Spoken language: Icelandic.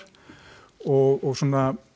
og svona